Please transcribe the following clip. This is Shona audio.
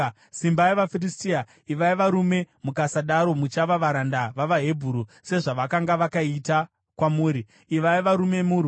Simbai vaFiristia! Ivai varume, mukasadaro muchava varanda vavaHebheru sezvavakanga vakaita kwamuri. Ivai varume, murwe!”